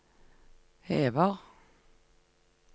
hever